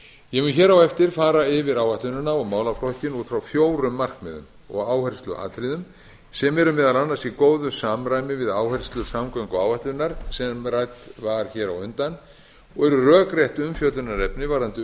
ég mun hér á eftir fara yfir áætlunina og málaflokkinn út frá fjórum markmiðum og áhersluatriðum sem eru meðal annars í góðu samræmi við áherslu samgönguáætlunar sem rædd var hér á undan og er rökrétt umfjöllunarefni varðandi